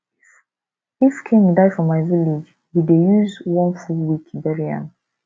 if king die for my village we dey use one full week bury am